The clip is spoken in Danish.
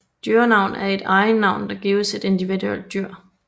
Dyrenavn er et egennavn der gives et individuelt dyr